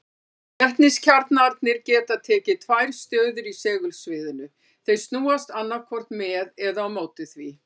Vetniskjarnarnir geta tekið tvær stöður í segulsviðinu, þeir snúast annaðhvort með eða á móti því.